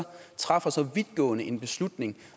træffer så vidtgående en beslutning